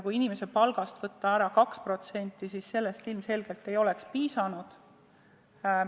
Kui inimese palgast võtta ära 2%, siis sellest ilmselgelt ei piisa.